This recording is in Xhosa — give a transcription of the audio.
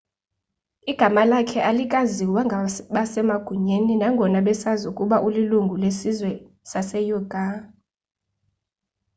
igama lakhe alikaziwa ngabasemagunyeni nangona besazi ukuba ulilungu lesizwe saseuighur